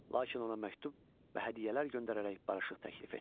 Lakin ona məktub və hədiyyələr göndərərək barışıq təklif etdi.